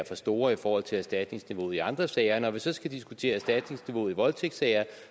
for store i forhold til erstatningsniveauet i andre sager når vi så skal diskutere erstatningsniveauet i voldtægtssager